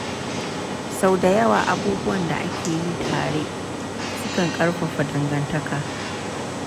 Sau da yawa, abubuwan da ake yi tare sukan ƙarfafa dangantaka.